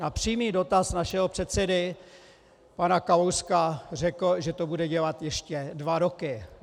Na přímý dotaz našeho předsedy pana Kalouska řekl, že to bude dělat ještě dva roky.